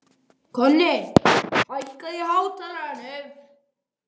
Ég gat auðvitað ekki slegið hendi á móti því.